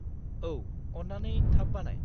औ, अन्नानै थाब बानाय।